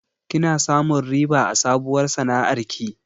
Kina samun riba a sabuwar sana'ar ki?